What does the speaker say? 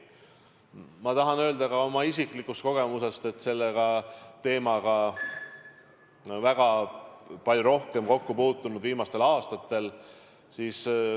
Ma tahan öelda, et tean seda ka oma isiklikust kogemusest, sest olen selle teemaga väga palju kokku puutunud viimastel aastatel.